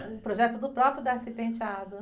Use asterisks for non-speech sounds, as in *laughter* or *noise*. Um projeto do próprio *unintelligible*